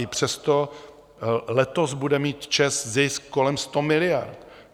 I přesto letos bude mít ČEZ zisk kolem 100 miliard.